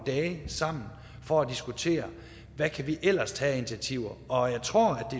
dage sammen for at diskutere hvad vi ellers kan tage af initiativer og jeg tror